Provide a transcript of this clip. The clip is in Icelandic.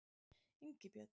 Ingibjörn